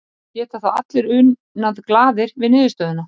geta þá allir unað glaðir við niðurstöðuna